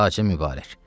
Xacə Mübarək.